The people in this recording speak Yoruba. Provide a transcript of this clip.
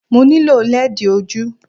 Mo nílò lẹ́ẹ̀dì ojú